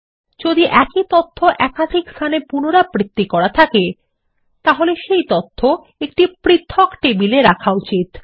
যদি একই তথ্য একাধিক স্থানে পুনরাবৃত্তি করা থাকে তাহলে সেই তথ্য একটি পৃথক টেবিলে রাখা উচিত